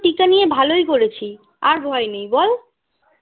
টিকা নিয়ে ভালই করেছি আর ভয় নেই বল